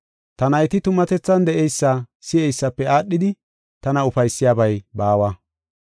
Ta nayti tumatethan de7eysa si7eysafe aadhidi, tana ufaysiyabay baawa.